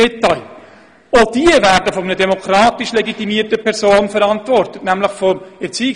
Auch diese werden von einer demokratisch legitimierten Person verantwortet, nämlich vom Erziehungsdirektor.